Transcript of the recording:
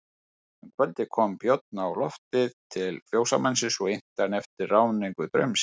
Um kvöldið kom Björn á loftið til fjósamanns og innti hann eftir ráðningu draumsins.